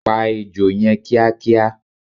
Pa Ejò yẹn kíá kíá!